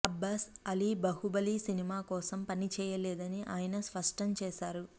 అబ్బాస్ అలీ బాహుబలి కోసం పని చేయలేదని ఆయన స్పష్టం చేశారు